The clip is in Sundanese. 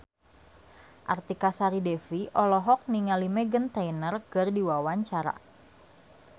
Artika Sari Devi olohok ningali Meghan Trainor keur diwawancara